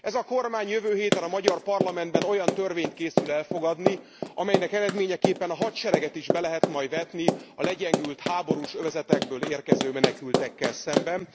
Ez a kormány jövő héten a magyar parlamentben olyan törvényt készül elfogadni, amelynek eredményeképpen a hadsereget is be lehet majd vetni a legyengült, háborús övezetekből érkező menekültekkel szemben.